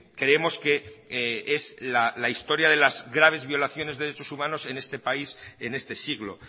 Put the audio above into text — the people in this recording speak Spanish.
creemos que es la historia de las graves violaciones de derechos humanos en este país en este siglo